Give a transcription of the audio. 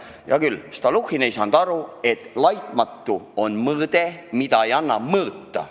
Hea küll, Stalnuhhin ei saanud aru, et "laitmatu" on mõiste, mida ei anna mõõta.